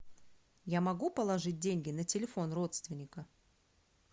я могу положить деньги на телефон родственника